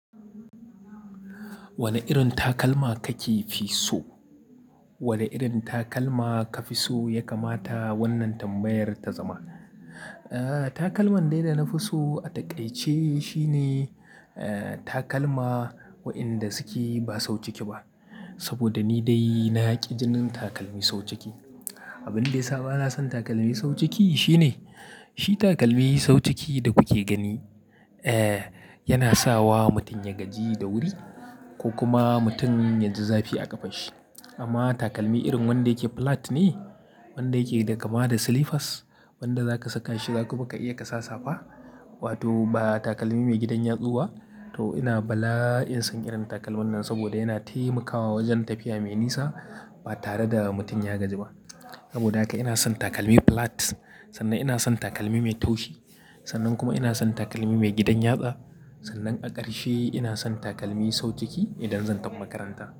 Wane irin takalma kake fi so? Wane irin takalma ka fi so ya kamata wannan tambayar ta zama. Eh, takalman dai da na fi so a taƙaice shine, eh, takalma waɗanda suke ba sauciki ba. Saboda ni dai na ƙi jinin takalmi sauciki. Abin da ya sa bana son takalmi sauciki shine, shi takalmi sauciki da kuke gani, eh, yana sawa mutum ya gaji da wuri ko kuma mutum ya ji zafi a ƙafanshi. Amma takalmi irin wanda yake plat ne, wanda yake da kama da slippers, wanda zaka saka shi za kuma ka iya kasa safa wato ba takalmi mai gidan yatsu ba, to ina bala'in son irin takalman nan saboda yana taimakawa wajen tafiya mai nisa ba tare da mutum ya gaji ba. Saboda haka ina son takalmi plat sannan ina son takalmi mai taushi. Sannan kuma ina son takalmi mai gidan yatsa. Sannan a ƙarshe ina son takalmi sauciki idan zan tafi makaranta.